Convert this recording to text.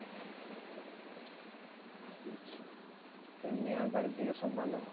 তো এমনি আর বাড়ির দিকে সব ভালো?